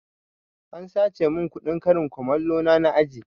An sace mun kuɗin karin kumalo na a aji